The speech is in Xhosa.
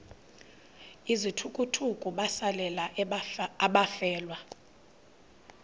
izithukuthuku besalela abafelwa